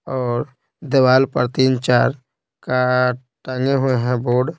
और दीवाल पर तीन चार का टांगे हुए हैं बोर्ड --